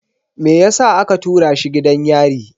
Me yasa aka tura shi gidan yari?